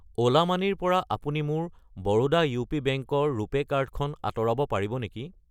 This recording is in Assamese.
অ'লা মানি ৰ পৰা আপুনি মোৰ বৰোডা ইউ.পি. বেংক ৰ ৰুপে কাৰ্ড খন আঁতৰাব পাৰিব নেকি?